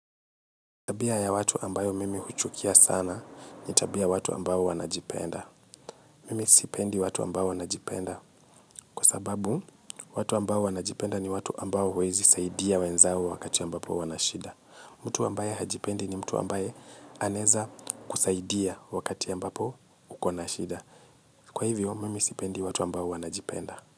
Tabia ya watu ambayo mimi huchukia sana ni tabia watu ambao wanajipenda. Mimi sipendi watu ambao wanajipenda kwa sababu watu ambao wanajipenda ni watu ambao huwezi saidia wenzao wakati ambapo wanashida. Mtu ambaye hajipendi ni mtu ambaye anaeza kusaidia wakatia mbapo ukona shida. Kwa hivyo, mimi sipendi watu ambao wanajipenda.